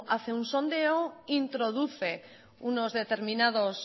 hace un sondeo introduce unos determinados